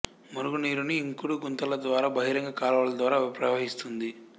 మురుగునీరుని ఇంకుడు గుంతల ద్వారా బహిరంగ కాలువల ద్వారా ప్రవహిస్తుంది